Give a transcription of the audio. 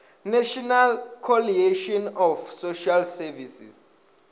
national coalition of social services